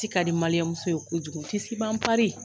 Tisi ka di ye kojugu tisi b'an .